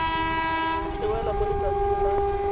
le wela mo letsatsing la